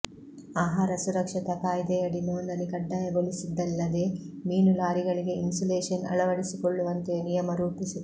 ಆಹಾರ ಸುರಕ್ಷತಾ ಕಾಯ್ದೆಯಡಿ ನೋಂದಣಿ ಕಡ್ಡಾಯಗೊಳಿಸಿದ್ದಲ್ಲದೇ ಮೀನು ಲಾರಿಗಳಿಗೆ ಇನ್ಸುಲೇಶನ್ ಅಳವಡಿಸಿಕೊಳ್ಳುವಂತೆಯೂ ನಿಯಮ ರೂಪಿಸಿತ್ತು